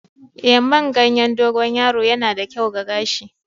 Eh, man ganyen dogon yaro yana da kyau ga gashi.